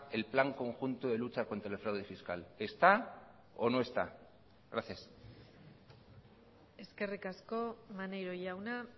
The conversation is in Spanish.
el plan conjunto de lucha contra el fraude fiscal está o no está gracias eskerrik asko maneiro jauna